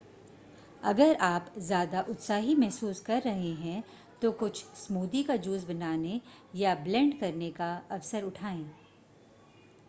अगर आप ज़्यादा उत्साही महसूस कर रहे हैं तो कूछ स्मूदी का जूस बनाने या ब्लेंड करने का अवसर उठाएं